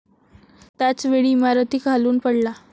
त्याच वेळी इमारतीखालून पडला.